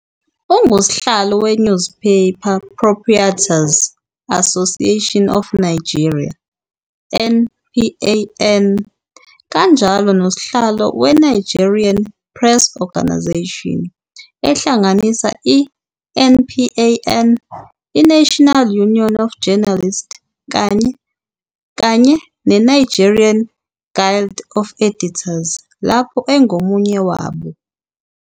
Ungusihlalo weNewspaper Proprietors 'Association of Nigeria, NPAN, kanjalo noSihlalo weNigerian Press Organisation - ehlanganisa iNPAN, iNational Union of Journalists kanye neNigerian Guild of Editors lapho engomunye wabo.